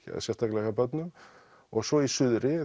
sérstaklega hjá börnum og svo í suðri